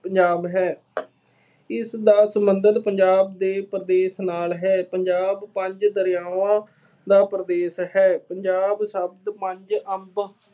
ਪੰਜਾਬ ਹੈ, ਇਸ ਨਾਲ ਸੰਬੰਧਿਤ ਪੰਜਾਬ ਦੇ ਪ੍ਰਦੇਸ਼ ਨਾਲ ਹੈ। ਪੰਜਾਬ ਪੰਜ ਦਰਿਆਵਾਂ ਦਾ ਪ੍ਰਦੇਸ਼ ਹੈ। ਪੰਜਾਬ ਸੱਪਤ ਪੰਜ ਅੰਬ